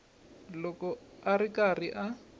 loko a ri karhi a